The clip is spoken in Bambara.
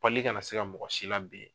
kana na se mɔgɔ si laben.